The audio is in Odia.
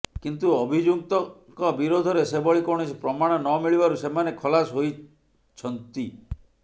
କିନ୍ତୁ ଅଭିଯୁକ୍ତଙ୍କ ବିରୋଧରେ ସେଭଳି କୌଣସି ପ୍ରମାଣ ନମିଳିବାରୁ ସେମାନେ ଖଲାସ ହୋଇଛନ୍ନ୍ତି